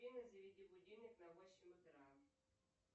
афина заведи будильник на восемь утра